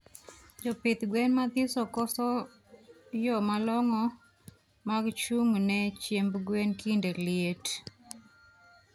Jopidh gwen mathiso koso yo malongo mag chungne chiemb gwen kinde liet